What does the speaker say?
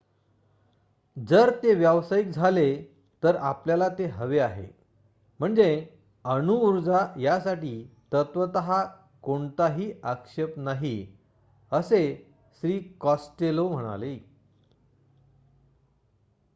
"" जर ते व्यावसायिक झाले तर आपल्याला ते हवे आहे. म्हणजे अणुऊर्जा यासाठी तत्वत: कोणताही आक्षेप नाही" असे श्री. कॉस्टेलो म्हणाले.